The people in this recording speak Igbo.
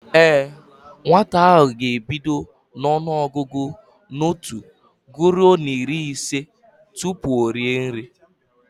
Ee, nwata ahụ ga-ebido ọnụọgụgụ n'otu guruo n'iri ise tupu o rie nri